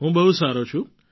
હું બહુ સારો છું